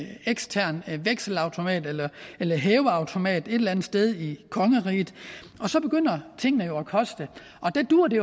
en ekstern vekselautomat eller eller hæveautomat et eller andet sted i kongeriget og så begynder tingene jo at koste der duer det